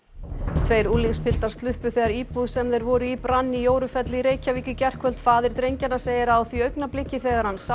tveir unglingspiltar sluppu þegar íbúð sem þeir voru í brann í Jórufelli í Reykjavík í gærkvöld faðir drengjanna segir að á því augnabliki þegar hann sá